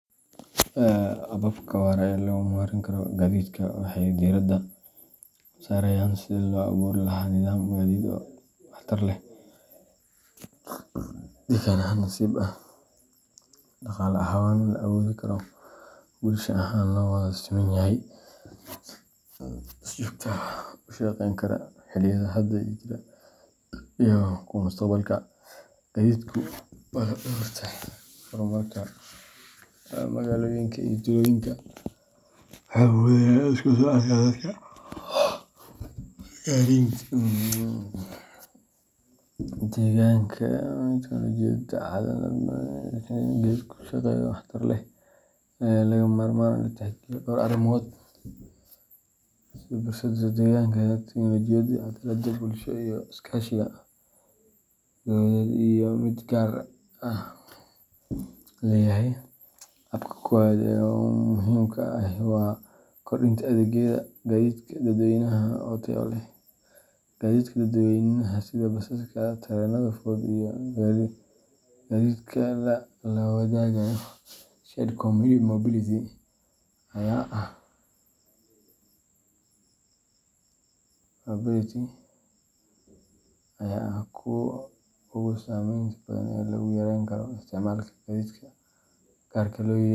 Hababka waara ee lagu horumarin karo gaadiidka waxay diiradda saarayaan sidii loo abuuri lahaa nidaam gaadiid oo waxtar leh, deegaan-saaxiib ah, dhaqaale ahaan la awoodi karo, bulsho ahaan loo wada siman yahay, isla markaana si joogto ah u shaqayn kara xilliyada hadda jira iyo kuwa mustaqbalka. Gaadiidku waa laf-dhabarta horumarka magaalooyinka iyo tuulooyinka – wuxuu fududeeyaa isku socodka dadka, gaarsiinta alaabaha, iyo helitaanka adeegyada muhiimka ah sida caafimaadka, waxbarashada iyo shaqooyinka. Si loo hubiyo in nidaamka gaadiidku u shaqeeyo si waara oo waxtar leh, waxaa lagama maarmaan ah in la tixgeliyo dhawr arrimood oo is-biirsada: deegaanka, tiknoolajiyadda, cadaaladda bulsho, iyo iskaashiga dowladeed iyo mid gaar loo leeyahay. Habka koowaad ee muhiimka ah waa kordhinta adeegyada gaadiidka dadweynaha oo tayo leh. Gaadiidka dadweynaha sida basaska, tareennada fudud, iyo gaadiidka la wadaago shared mobility, ayaa ah kuwa ugu saamaynta badan ee lagu yareyn karo isticmaalka gaadiidka gaarka loo leeyahay.